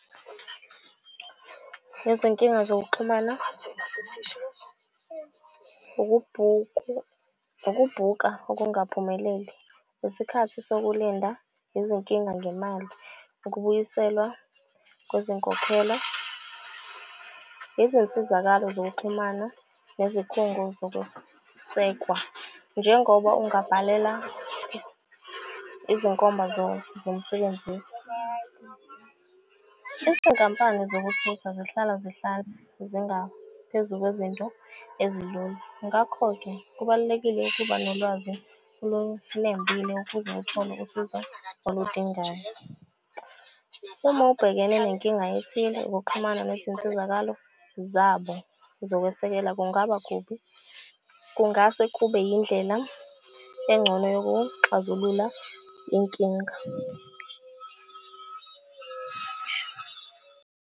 Izinkinga zokuxhumana ukubhuka okungaphumeleli, isikhathi sokulinda, izinkinga ngemali. Ukubuyiselwa kwezinkokhela, izinsizakalo zokuxhumana nezikhungo zokusekwa. Njengoba ungabhalela izinkomba zomsebenzisi. Izinkampani zokuthutha zihlala zihlale zingaphezu kwezinto ezilula. Ngakho-ke kubalulekile ukuba nolwazi olunembile ukuze uthole usizo oludingayo. Uma ubhekene nenkinga ethile ukuxhumana nezinsizakalo zabo zokwesekela kungaba kubi. Kungase kube yindlela engcono yokuxazulula inkinga.